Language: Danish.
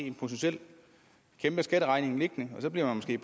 en potentiel kæmpe skatteregning liggende og så bliver de